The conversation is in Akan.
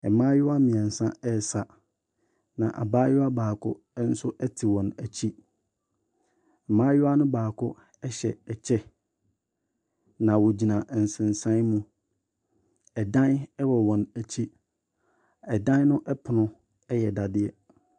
Mmaayewa mmeɛnsa resa, na abaayewa baako te wɔn akyi. Mmaayewa no baako hyɛ ɛkyɛ, na wɔgyina nsensan mu. Ɛdan wɔ wɔn akyi, ɛdan no pono yɛ dadeɛ.